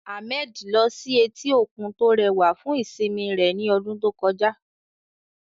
Ahmed lọ sí etí òkun tó rẹwà fún ìsinmi rẹ̀ ní ọdún tó kọjá.